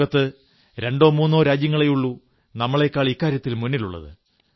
ലോകത്ത് രണ്ടോ മൂന്നോ രാജ്യങ്ങളേയുള്ളൂ നമ്മെക്കാൾ ഇക്കാര്യത്തിൽ മുന്നിലുള്ളത്